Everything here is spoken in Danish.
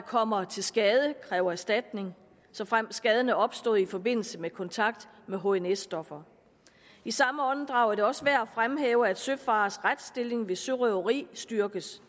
kommer til skade kræve erstatning såfremt skaden er opstået i forbindelse med kontakt med hns stoffer i samme åndedrag er det også værd at fremhæve at søfareres retsstilling ved sørøveri styrkes